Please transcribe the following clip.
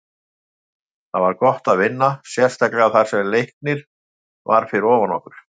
Það var gott að vinna, sérstaklega þar sem Leiknir var fyrir ofan okkur.